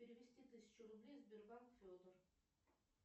перевести тысячу рублей сбербанк федор